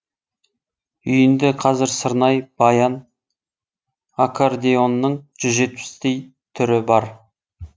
үйінде қазір сырнай баян аккордеонның жүз жетпістей түрі бар